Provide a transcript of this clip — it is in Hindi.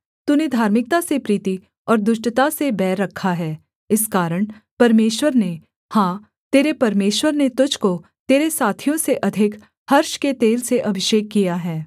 तूने धार्मिकता से प्रीति और दुष्टता से बैर रखा है इस कारण परमेश्वर ने हाँ तेरे परमेश्वर ने तुझको तेरे साथियों से अधिक हर्ष के तेल से अभिषेक किया है